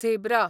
zebra